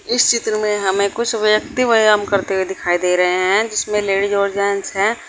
इस चित्र में हमें कुछ व्यक्ति व्यायाम करते हुए दिखाई दे रहे है जिसमें लेडीज और जेंस है।